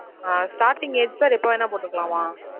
ஆஹ் starting என் பேருக்கு வேணா போட்டுக்கலாமா?